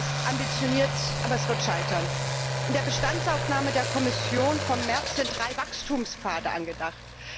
Es ist ambitioniert, aber es wird scheitern. In der Bestandsaufnahme der Kommission von März sind drei Wachstumspfade angedacht.